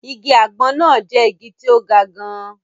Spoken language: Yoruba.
Igi àgbọn náà jẹ́ igi tí ó ga gan-an